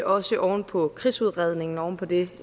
også oven på krigsudredningen oven på det